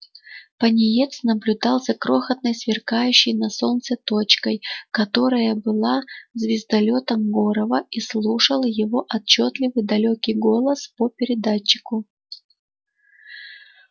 пониетс наблюдал за крохотной сверкающей на солнце точкой которая была звездолётом горова и слушал его отчётливый далёкий голос по передатчику